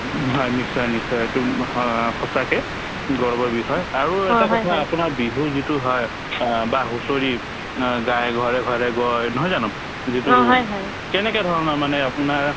উম, হয় নিশ্চয় নিশ্চয় এইটো হয় সঁচাকে গৌৰৱৰ বিষয় আৰু এটা কথা আপোনাৰ বিহু যিটো হয় আ বা হুঁচৰি অ গাই ঘৰে ঘৰে গৈ নহয় জানো যিটো কেনেকে ধৰণৰ মানে আপোনাৰ